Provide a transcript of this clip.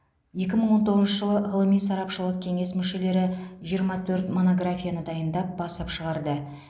екі мың он тоғызыншы жылы ғылыми сарапшылық кеңес мүшелері жиырма төрт монографияны дайындап басып шығарды